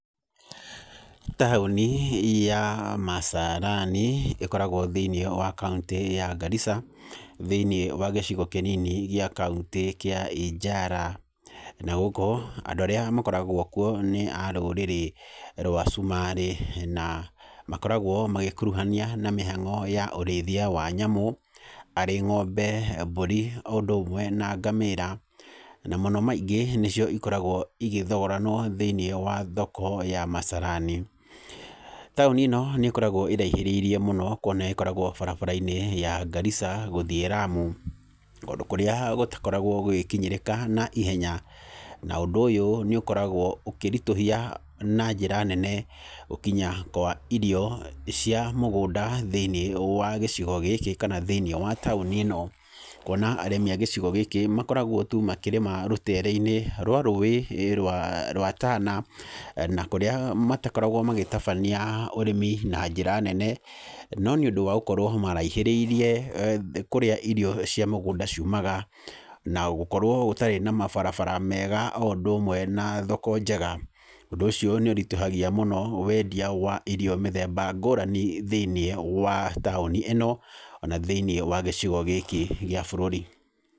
Taũni ya Masalani ĩkoragwo thĩinĩ wa kauntĩ ya Garissa, thĩinĩ wa gĩcigo kĩnini gĩa kauntĩ kĩa Ijala, na ũguo andũ arĩa makoragwo kuo nĩ arũrĩrĩ rwa cumarĩ, na makoragwo magĩkuruhania na mĩhango ya ũrĩithia wa nyamũ, arĩ ngombe, mbũri, o ũndũ ũmwe na ngamĩra, na mũno maingĩ nĩcio ikoragwo igĩthogoranwo thĩinĩ wa thoko ya Masalani, taũni ĩno nĩ ĩkoragwo ĩraihĩrĩirie mũno, kuona ĩkoragwo barabara-inĩ ya Garissa, gũthiĩ Lamu, kũndũ kũrĩa gũtakoragwo gũgĩkinyĩrika naihenya na ũndũ ũyũ nĩ ũkoragwo ũkĩritũhia na njĩra nene gũkinya kwa irio cia mũgũnda thĩinĩ wa gĩcigo gĩkĩ, kana thĩinĩ wa taũni ĩno, kuona arĩmi a gĩcigo gĩkĩ makoragwo tu makĩrĩma rũtere-inĩ rwa rũĩ rwa rwa tana, na kũrĩa matakoragwo magĩtabania ũrĩmi na njĩra nene, no nĩ ũndũ wa gũkorwo maraihĩrĩirie kũrĩa irio cia mĩgũnda ciumaga, na gũkorwo gũtarĩ na mabarabara mega o ũndũ ũmwe na thoko njega, ũndũ ũcio nĩ ũritũhagia mũno wendia wa irio mĩthemba ngũrani thĩinĩ wa taũni ĩno, ona thĩinĩ wa gĩcigo gĩkĩ gĩa bũrũri.